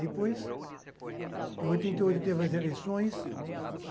Depois, em oitenta e oito teve as eleições.